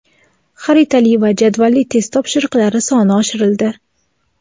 xaritali va jadvalli test topshiriqlari soni oshirildi.